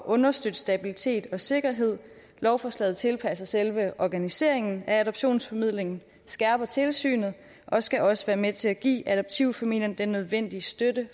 understøtte stabilitet og sikkerhed lovforslaget tilpasser selve organiseringen af adoptionsformidlingen skærper tilsynet og skal også være med til at give adoptivfamilierne den nødvendige støtte